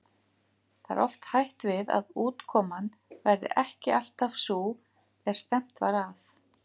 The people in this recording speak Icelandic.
Það er oft hætt við að útkoman verði ekki alltaf sú er stefnt var að.